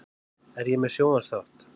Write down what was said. Er ég með sjónvarpsþátt?